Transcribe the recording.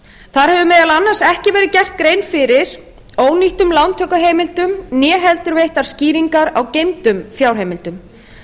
þar hefur meðal annars ekki verið gerð grein fyrir ónýttum lántökuheimildum né heldur veittar skýringar á geymdum fjárheimildum